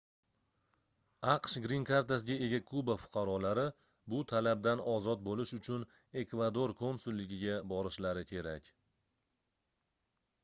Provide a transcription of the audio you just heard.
aqsh grin kartasiga ega kuba fuqarolari bu talabdan ozod boʻlish uchun ekvador konsulligiga borishlari kerak